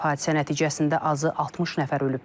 Hadisə nəticəsində azı 60 nəfər ölüb.